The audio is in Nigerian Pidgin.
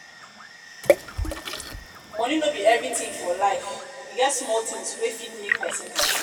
money no be everything for for life. e get small things wey go fit make person happy